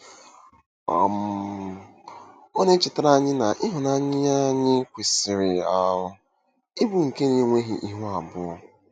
um Ọ na-echetara anyị na ịhụnanya anyị kwesịrị um ịbụ nke “na-enweghị ihu abụọ.”